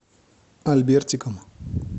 альбертиком